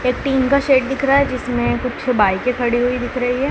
एक टीन का शेड दिख रहा है जिसमें कुछ बाईकें खड़ी हुई दिख रही है।